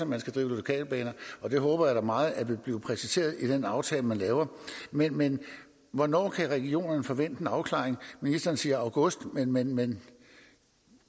man skal drive lokalbaner det håber jeg da meget vil blive præciseret i den aftale man laver men men hvornår kan regionerne forvente en afklaring ministeren siger august men men